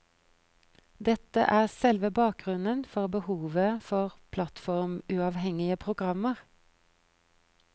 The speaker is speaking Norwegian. Dette er selve bakgrunnen for behovet for plattformuavhengige programmer.